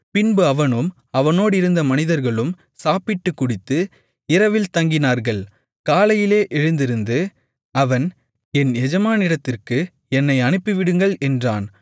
பின்பு அவனும் அவனோடிருந்த மனிதர்களும் சாப்பிட்டுக் குடித்து இரவில் தங்கினார்கள் காலையிலே எழுந்திருந்து அவன் என் எஜமானிடத்திற்கு என்னை அனுப்பிவிடுங்கள் என்றான்